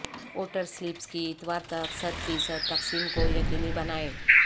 voter slips کی اتوار تک صدفیصد تقسیم کو یقینی بنائیں